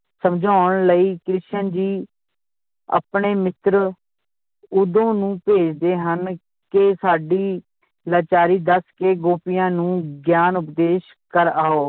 ਸਮਝਾਉਣ ਲਈ ਕ੍ਰਿਸ਼ਨ ਜੀ ਆਪਣੇ ਮਿੱਤਰ ਉਦੋ ਨੂੰ ਭੇਜਦੇ ਹਨ ਕਿ ਸਾਡੀ ਲਾਚਾਰੀ ਦੱਸ ਕੇ ਗੋਪੀਆਂ ਨੂੰ ਗਿਆਨ ਉਪਦੇਸ਼ ਕਰ ਆਓ